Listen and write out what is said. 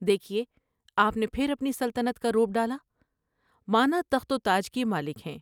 دیکھیے آپ نے پھر اپنی سلطنت کا رعب ڈالا۔ مانا تخت و تاج کی مالک ہیں ۔